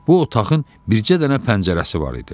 Bu otağın bircə dənə pəncərəsi var idi.